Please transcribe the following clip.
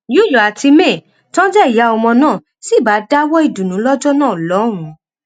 yül àti may tó jẹ ìyá ọmọ náà sì bá a dáwọọ ìdùnnú lọjọ náà lọhùnún